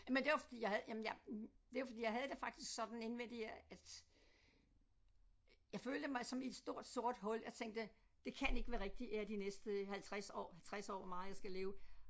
Jamen det var fordi jeg havde jamen jeg det var fordi jeg havde det faktisk sådan indvendigt at jeg følte mig som et stort sort hul jeg tænkte det kan ikke være rigtig at jeg de næste 50 år 60 år hvor meget jeg skal leve